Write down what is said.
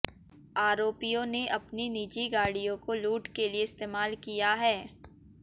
आरोपियों ने अपनी निजी गाडि़यों को लूट के लिए इस्तेमाल किया है